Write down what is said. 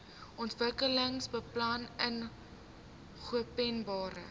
ontwikkelingsbeplanningopenbare